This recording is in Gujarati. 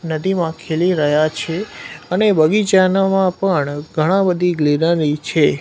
નદીમાં ખીલી રહ્યા છે અને બગીચાના મા પણ ઘણા બધી ગ્રીનરી છે.